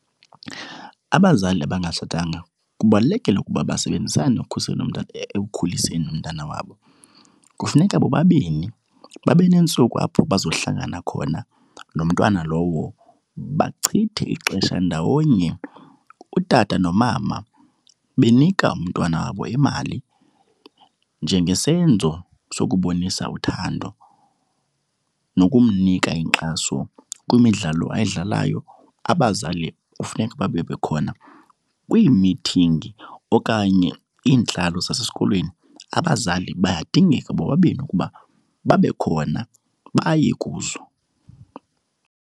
Abazali abangatshatanga kubalulekile ukuba basebenzisane ukukhusela ekukhuliseni umntana wabo. Kufuneka bobabini babe neentsuku apho bazohlangana khona nomntwana lowo. Bachithe ixesha ndawonye, utata nomama, benika umntwana wabo imali njengesenzo sokubonisa uthando. Nokumnika inkxaso kwimidlalo ayidlalayo, abazali funeka babe bekhona. Kwiimithingi okanye iintlalo zasesikolweni, abazali bayadingeka bobabini ukuba babe khona, baye kuzo.